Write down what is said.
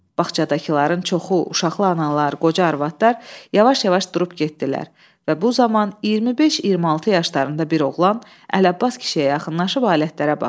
Bağçadakıların çoxu, uşaqlı analar, qoca arvadlar yavaş-yavaş durub getdilər və bu zaman 25-26 yaşlarında bir oğlan Ələbbas kişiyə yaxınlaşıb alətlərə baxdı.